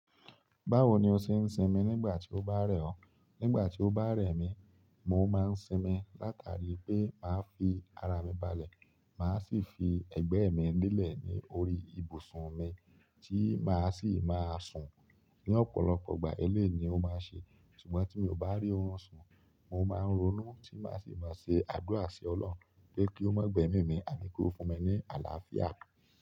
Báwo ni o ṣe ń sinmi nígbà tí o bá rẹ̀ ọ? Nígbà tí o bá rẹ̀ mí, mo máa ń sinmi látàrí pé màá fi ara mi balẹ̀, màá sì fi ẹ̀gbẹ́ mi lélẹ̀ ní orí ibùsùn mi tí màá sì máa sùn. Ní ọ̀pọ̀lọpọ̀ ìgbà eléè ni o máa ṣe, ṣùgbọ́n tí mi ò bá rí òun sùn, mo máa ń ronú tí màá sì máa ṣe àdúrà sí Ọlọ́run pé kí ó má gbe mí mí àní kí ó fún mi ní àlàáfíà.